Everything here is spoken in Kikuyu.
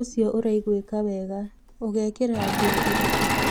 ũcio ũraigwĩka wega. ũgekĩra nguo irĩkũ?